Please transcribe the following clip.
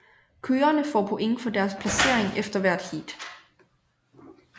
Kørerne får point for deres placering efter hvert heat